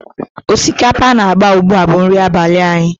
Osikapa na-agba ugbu a bụ nri abalị anyị.